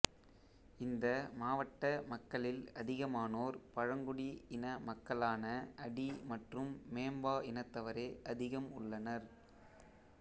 இந்த மாவட்ட மக்களில் அதிகமானோர் பழங்குடி இன மக்களான அடி மற்றும் மேம்பா இனத்தவரே அதிகம் உள்ளனர்